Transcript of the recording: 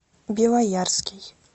белоярский